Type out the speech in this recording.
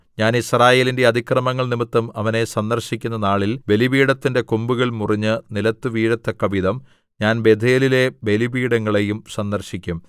ഞാൻ യിസ്രായേലിന്റെ അതിക്രമങ്ങൾനിമിത്തം അവനെ സന്ദർശിക്കുന്ന നാളിൽ ബലിപീഠത്തിന്റെ കൊമ്പുകൾ മുറിഞ്ഞ് നിലത്ത് വീഴത്തക്കവിധം ഞാൻ ബേഥേലിലെ ബലിപീഠങ്ങളെയും സന്ദർശിക്കും